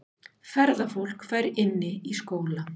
Ferðafólk fær inni í skóla